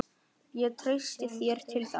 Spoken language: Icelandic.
Ég treysti þér til þess.